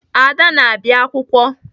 Ada na-abịa akwụkwọ.